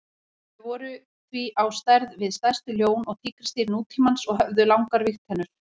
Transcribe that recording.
Þau voru því á stærð við stærstu ljón og tígrisdýr nútímans og höfðu langar vígtennur.